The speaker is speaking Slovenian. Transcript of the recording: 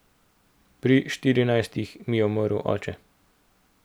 Pri štirinajstih mi je umrl oče.